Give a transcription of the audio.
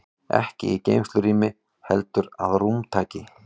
Ekki í geymslurými heldur að rúmtaki.